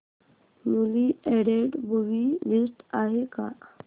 newly added movie list आहे का